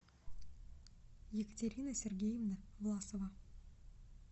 екатерина сергеевна власова